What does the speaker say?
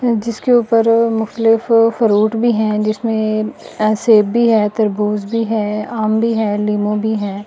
जिसके ऊपर मुख्तलिफ फ्रूट भी हैं जिसमें अ सेब भी हैं तरबूज भी हैं आम भी हैं लेमू भी हैं।